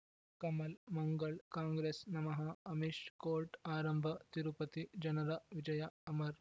ಕಮಲ್ ಮಂಗಳ್ ಕಾಂಗ್ರೆಸ್ ನಮಃ ಅಮಿಷ್ ಕೋರ್ಟ್ ಆರಂಭ ತಿರುಪತಿ ಜನರ ವಿಜಯ ಅಮರ್